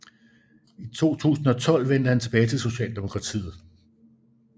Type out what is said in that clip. I 2012 vendte han tilbage til Socialdemokratiet